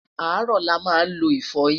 arọ là má n ló ifoyin